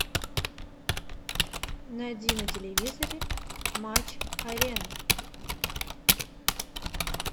найди на телевизоре матч арена